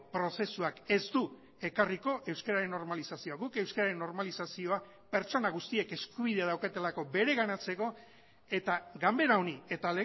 prozesuak ez du ekarriko euskararen normalizazioa guk euskararen normalizazioa pertsona guztiek eskubidea daukatelako bereganatzeko eta ganbera honi eta